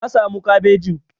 Na samu kabejin.